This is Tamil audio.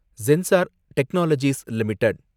sensor technologies limited